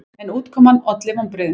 En útkoman olli vonbrigðum.